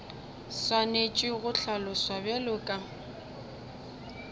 swanetše go hlaloswa bjalo ka